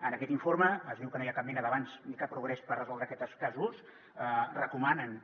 en aquest informe es diu que no hi ha cap mena d’avanç ni cap progrés per resoldre aquests casos i recomanen